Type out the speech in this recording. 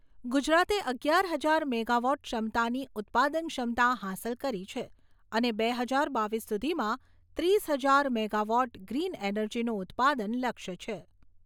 ગુજરાતે અગિયાર હજાર મેગાવોટ ક્ષમતાની ઉત્પાદન ક્ષમતા હાંસલ કરી છે અને બે હજાર બાવીસ સુધીમાં ત્રીસ હજાર મેગા વોટ ગ્રીન એનર્જીનું ઉત્પાદન લક્ષ્ય છે.